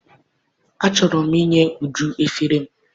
Achọrọ m inye Uju efere m.